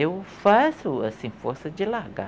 Eu faço, assim, força de largar.